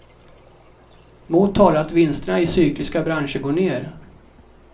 Mot talar att vinsterna i cykliska branscher går ner.